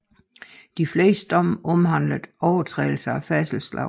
De fleste domme omhandlede overtrædelser af færdselsloven